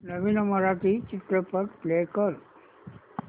नवीन मराठी चित्रपट प्ले कर